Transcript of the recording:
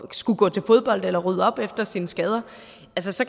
skulle gå til fodbold eller rydde op efter sine skader